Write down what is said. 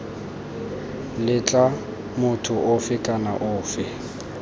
letla motho ofe kana ofe